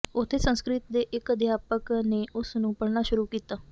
ਉੱਥੇ ਸੰਸਕ੍ਰਿਤ ਦੇ ਇੱਕ ਅਧਿਆਪਕ ਨੇ ਉਸ ਨੂੰ ਪੜ੍ਹਾਉਣਾ ਸ਼ੁਰੂ ਕੀਤਾ